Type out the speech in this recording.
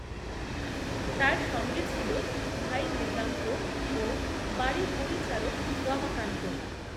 তার সঙ্গে ছিল ভাই মৃগাঙ্কও বাড়ির পরিচারক রমাকান্ত